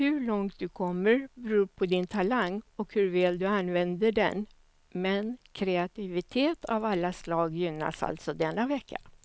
Hur långt du kommer beror på din talang och hur väl du använder den, men kreativitet av alla slag gynnas alltså denna vecka.